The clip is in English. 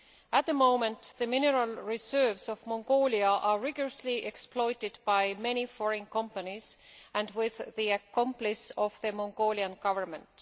At the moment, the mineral reserves of Mongolia are rigorously exploited by many foreign companies with the complicity of the Mongolian Government.